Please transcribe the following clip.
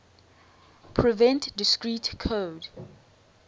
prevent discrete code